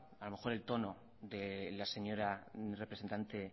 a lo mejor el tono de la señora representante